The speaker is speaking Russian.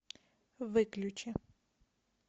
выключи